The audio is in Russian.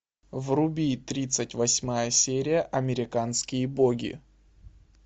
вруби тридцать восьмая серия американские боги